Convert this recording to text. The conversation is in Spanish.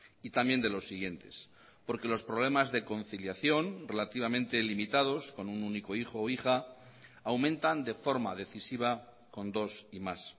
y también de los siguientes porque los problemas de conciliación relativamente limitados con un único hijo o hija aumentan de forma decisiva con dos y más